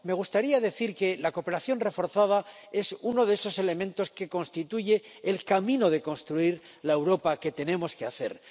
Me gustaría decir que la cooperación reforzada es uno de esos elementos que constituye el camino de construir la Europa que tenemos que hacer.